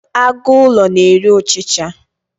agụ ụlọ na-eri ọchicha